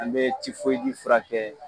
An bɛ furakɛ